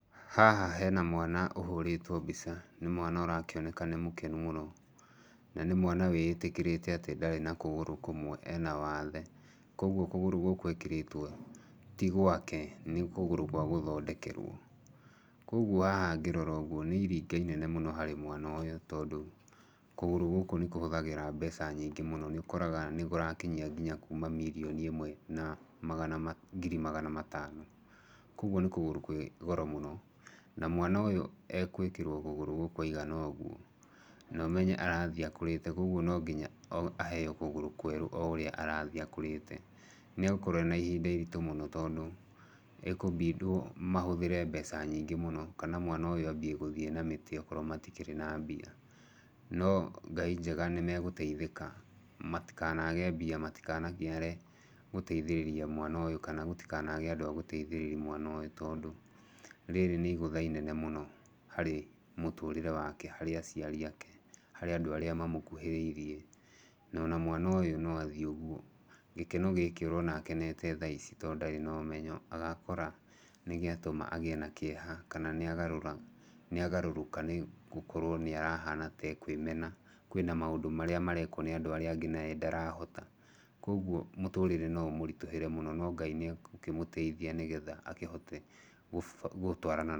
Haha hena mwana ũhũrĩtwo mbica. Nĩ mwana ũrakĩoneka nĩ mũkenu mũno, na nĩ mwana wĩĩtĩkĩrĩte atĩ ndarĩ na kũgũrũ kũmwe ena wathe. Koguo kũgũrũ gũkũ ekĩrĩtwo ti gwake nĩ kũgũrũ kwa gũthondekerwo. Koguo haha ngĩrora ũguo nĩ iringa inene mũno harĩ mwana ũyũ tondũ kũgũrũ gũkũ nĩ kũhũthagĩra mbeca nyingĩ mũno. Nĩ ũkoraga nĩ kũrakinyia nginya kuma mirioni ĩmwe na ngiri magana matano. Koguo nĩ kũgũrũ kwĩ goro mũno. Na mwana ũyũ e gwĩkĩrwo kũgũrũ gũkũ aigana ũũ, na ũmenye arathiĩ akũrĩte koguo no nginya aheo kũgũrũ kwerũ o ũrĩa arathiĩ akũrĩte. Nĩ egũkorwo ena ihinda iritũ mũno tondũ ekũ mbindwo mahũthĩre mbeca nyingĩ mũno kana mwana ũy ũ ambia gũthiĩ na mĩtĩ okorwo matikĩrĩ na mbia. No Ngai njega nĩ megũteithĩka matikanage mbia, matikananiare gũteithĩrĩria mwana ũyũ kana gũtikanage andũ a gũteithĩrĩria mwana ũyũ. Tondũ rĩrĩ nĩ igũtha inene mũno harĩ mũtũrĩre wake, harĩ aciari ake, harĩ andũ arĩa mamũkuhĩrĩirie. Na ona mwana ũyũ no athiĩ uguo, gĩkeno gĩkĩ ũrona akenete thaici tondũ ndarĩ na ũmenyo agakora nĩ gĩatũma agĩe na kĩeha kana nĩ agũrũrũka nĩ gũkorwo nĩ arehana ta ekwĩmena. Kwĩna maũndũ marĩa marekwo nĩ andũ arĩa angĩ naye ndarahota. Koguo mũtũrĩre no ũmũritũhĩre mũno no Ngai nĩ egũkĩmũteithia nĩgetha akĩhote gũtwarana naguo.